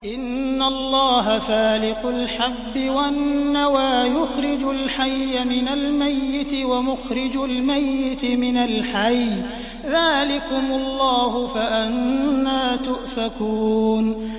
۞ إِنَّ اللَّهَ فَالِقُ الْحَبِّ وَالنَّوَىٰ ۖ يُخْرِجُ الْحَيَّ مِنَ الْمَيِّتِ وَمُخْرِجُ الْمَيِّتِ مِنَ الْحَيِّ ۚ ذَٰلِكُمُ اللَّهُ ۖ فَأَنَّىٰ تُؤْفَكُونَ